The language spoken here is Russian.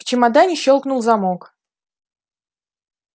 в чемодане щёлкнул замок